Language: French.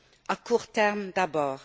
À court terme, d'abord.